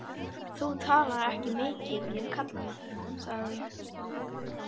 Þú talar ekki mikið við kallana, sagði ég.